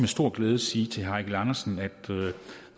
stor glæde sige til herre eigil andersen at